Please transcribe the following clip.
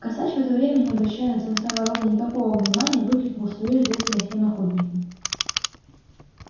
косач в это время не обращая на самца вороны никакого внимания выкликнул своё известное всем охотникам